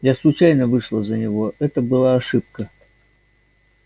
я случайно вышла за него это была ошибка